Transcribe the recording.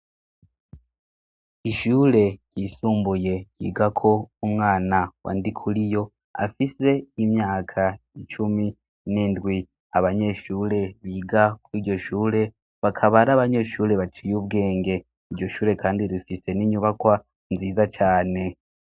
Ishure ryisumbuye yiga ko umwana wa ndi kuri yo afise imyaka icumi n'indwi abanyeshure biga ko iryo shure bakabari abanyeshure baciye ubwenge iryo shure, kandi rifise n'inyubakwa nziza cane.